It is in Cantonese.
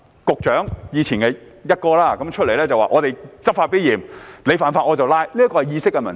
局長——前"一哥"——會出來說："我們執法必嚴，你犯法，我便抓"，這是意識的問題。